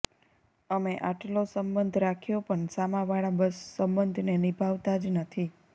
અમે આટલો સંબંધ રાખ્યો પણ સામાવાળા બસ સંબંધને નિભાવતા જ નથી